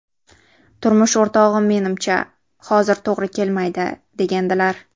Turmush o‘rtog‘im menimcha, hozir to‘g‘ri kelmaydi, degandilar.